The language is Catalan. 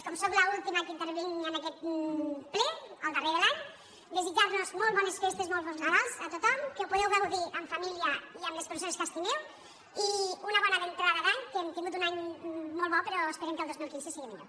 com que sóc l’última que intervinc en aquest ple el darrer de l’any desitjar los molt bones festes molt bon nadal a tothom que ho pugueu gaudir en família i amb les persones que estimeu i una bona entrada d’any que hem tingut un any molt bo però esperem que el dos mil quinze sigui millor